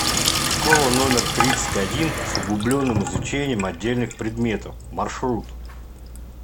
школа номер тридцать один с углубленным изучением отдельных предметов маршрут